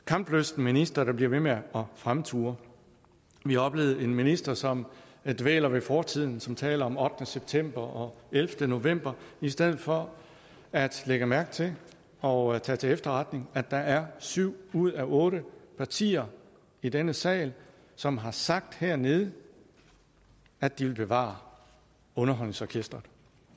kamplysten minister der bliver ved med at fremture vi har oplevet en minister som dvæler ved fortiden som taler om ottende september og ellevte november i stedet for at lægge mærke til og tage til efterretning at der er syv ud af otte partier i denne sal som har sagt hernede at de vil bevare underholdningsorkestret